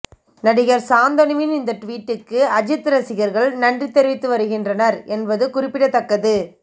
நடிகர் சாந்தனுவின் இந்த டுவீட்டுக்கு அஜித் ரசிகர்கள் நன்றி தெரிவித்து வருகின்றனர் என்பது குறிப்பிடத்தக்கது